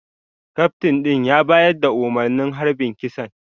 Kaftin din ya bayar da umarnin harbin kisan